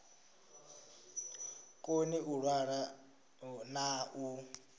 koni u ṅwala na u